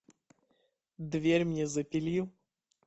дверь мне запили